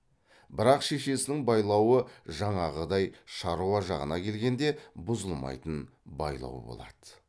бірақ шешесінің байлауы жаңағыдай шаруа жағына келгенде бұзылмайтын байлау болады